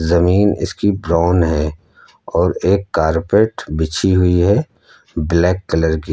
जमीन इसकी ब्राउन है और एक कारपेट बिछी हुई है ब्लैक कलर की--